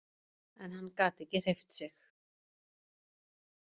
En hann gat ekki hreyft sig.